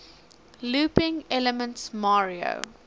looping elements mario